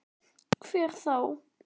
Hver þá?